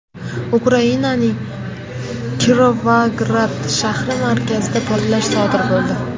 Ukrainaning Kirovograd shahri markazida portlash sodir bo‘ldi.